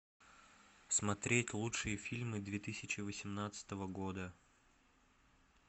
смотреть лучшие фильмы две тысячи восемнадцатого года